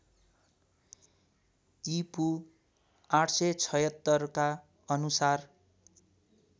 ईपू ८७६ का अनुसार